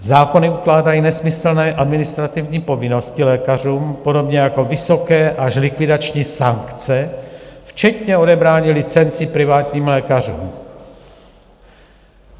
Zákony ukládají nesmyslné administrativní povinnosti lékařům podobně jako vysoké až likvidační sankce, včetně odebrání licencí privátním lékařům.